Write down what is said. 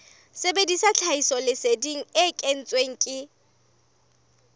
sebedisa tlhahisoleseding e kentsweng ke